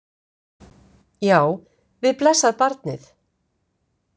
Já, við blessað barnið!